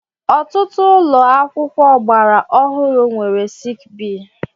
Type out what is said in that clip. Ọtụtụ ụlọ akwụkwọ ọgbara ọhụrụ nwere sik bee